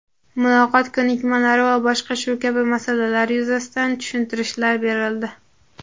muloqot ko‘nikmalari va boshqa shu kabi masalalar yuzasidan tushuntirishlar berildi.